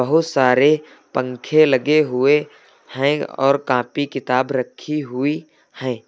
बहुत सारे पंखे लगे हुए हैं और काफी किताब रखी हुई है।